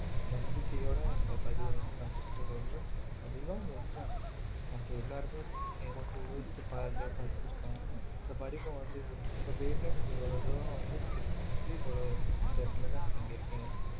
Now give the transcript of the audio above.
நம்பிக்கையோட இந்த பதிவை வந்து நான் உங்ககிட்ட சொல்றேன் அதுதான் உண்மை மத்த எல்லாருமே நீங்க கொஞ்சம் யோசிச்சு பாருங்க படிச்சிருக்கோம் அந்த படிப்பை வந்து உங்க பேர்ல நீங்க இவ்வளவு தூரம் வந்து முயற்சி இவ்வளோ இந்த நிலமைல நீங்க இருக்கீங்கன்னா